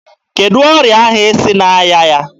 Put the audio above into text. Kedụ ọrịa ahụ sị na-arịa ya?